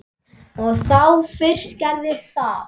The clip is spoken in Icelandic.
Og þá fyrst gerðist það.